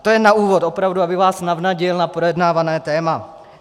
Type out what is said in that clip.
A to je na úvod, opravdu, abych vás navnadil na projednávané téma.